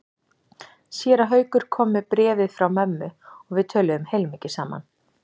Séra Haukur kom með bréfið frá mömmu og við töluðum heilmikið saman.